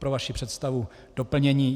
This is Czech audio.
Pro vaši představu doplnění.